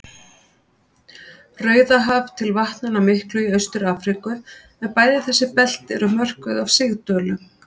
Rauðahaf til vatnanna miklu í Austur-Afríku, en bæði þessi belti eru mörkuð af sigdölum.